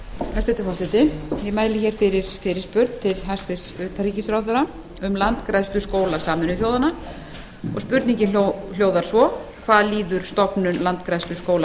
hæstvirtur forseti ég mæli hér fyrir fyrirspurn til hæstvirts utanríkisráðherra um landgræðsluskóla sameinuðu þjóðanna og spurningin hljóðar svo hvað líður stofnun landgræðsluskóla